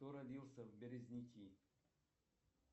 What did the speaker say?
кто родился в березники